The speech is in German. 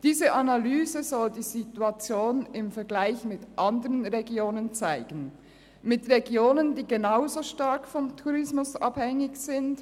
Diese Analyse soll die Situation im Vergleich mit anderen Regionen zeigen, Regionen, die genauso stark vom Tourismus abhängig sind.